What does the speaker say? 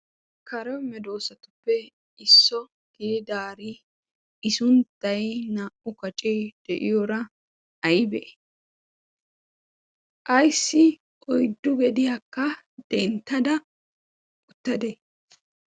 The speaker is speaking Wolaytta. kare medoosatuppe isso gididaari i sunttay naa''u kacee de'iyoora aybee ayssi oyddu gediyaakka denttada uttadee